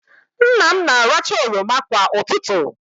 Nna m na-aracha oroma kwa ụtụtụ.